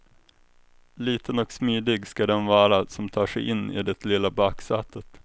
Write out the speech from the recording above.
Liten och smidig ska den vara som tar sig in i det lilla baksätet.